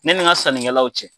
Ne ni n ka sanninkɛlaw cɛ,